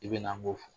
I bɛ na n'o